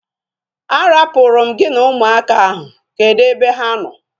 A rapuru m gị na ụmụaka ahu. Kedụ ebe ha nọ